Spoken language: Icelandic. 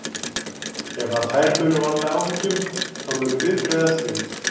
Ef að þær munu valda áhyggjum þá munum við bregðast við.